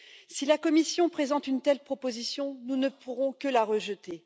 Si la Commission présente une telle proposition, nous ne pourrons que la rejeter.